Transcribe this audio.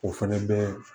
O fɛnɛ bɛ